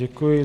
Děkuji.